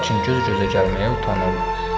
Lakin göz-gözə gəlməyə utanırdı.